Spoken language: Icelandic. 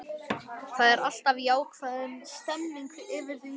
Það er alltaf ákveðin stemmning yfir því.